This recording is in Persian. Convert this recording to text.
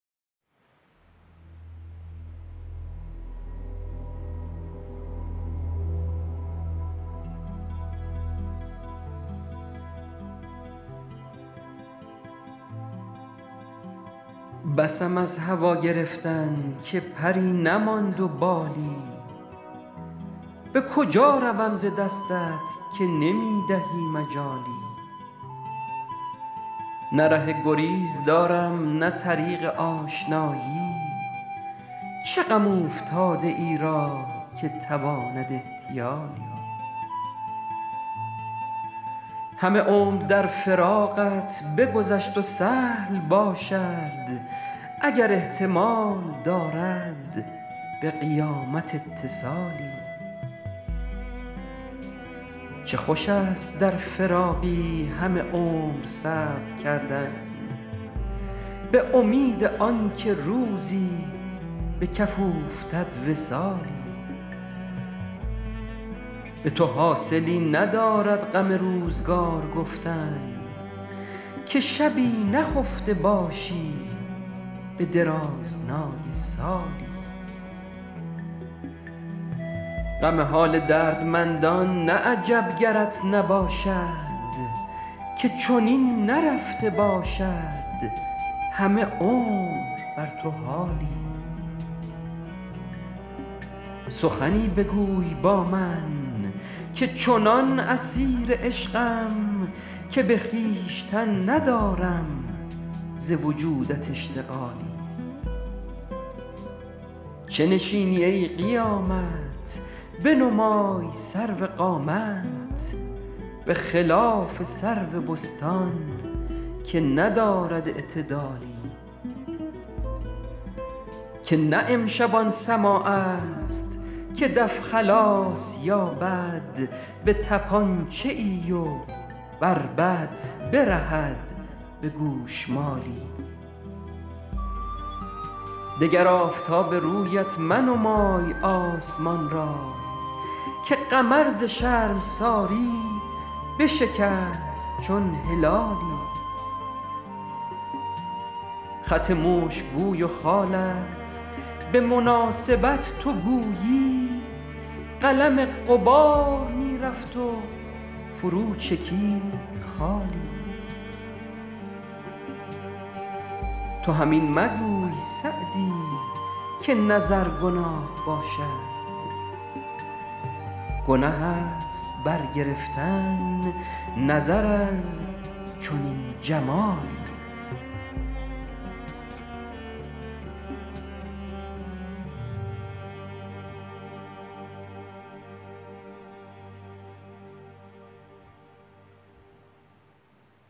بسم از هوا گرفتن که پری نماند و بالی به کجا روم ز دستت که نمی دهی مجالی نه ره گریز دارم نه طریق آشنایی چه غم اوفتاده ای را که تواند احتیالی همه عمر در فراقت بگذشت و سهل باشد اگر احتمال دارد به قیامت اتصالی چه خوش است در فراقی همه عمر صبر کردن به امید آن که روزی به کف اوفتد وصالی به تو حاصلی ندارد غم روزگار گفتن که شبی نخفته باشی به درازنای سالی غم حال دردمندان نه عجب گرت نباشد که چنین نرفته باشد همه عمر بر تو حالی سخنی بگوی با من که چنان اسیر عشقم که به خویشتن ندارم ز وجودت اشتغالی چه نشینی ای قیامت بنمای سرو قامت به خلاف سرو بستان که ندارد اعتدالی که نه امشب آن سماع است که دف خلاص یابد به طپانچه ای و بربط برهد به گوشمالی دگر آفتاب رویت منمای آسمان را که قمر ز شرمساری بشکست چون هلالی خط مشک بوی و خالت به مناسبت تو گویی قلم غبار می رفت و فرو چکید خالی تو هم این مگوی سعدی که نظر گناه باشد گنه است برگرفتن نظر از چنین جمالی